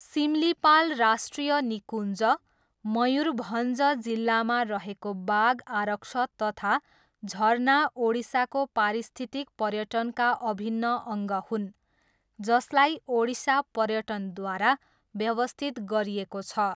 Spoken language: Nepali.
सिम्लिपाल राष्ट्रिय निकुञ्ज, मयुरभञ्ज जिल्लामा रहेको बाघ आरक्ष तथा झरना ओडिसाको पारिस्थितिक पर्यटनका अभिन्न अङ्ग हुन्, जसलाई ओडिसा पर्यटनद्वारा व्यवस्थित गरिएको छ।